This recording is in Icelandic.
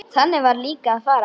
Þannig varð líka að fara.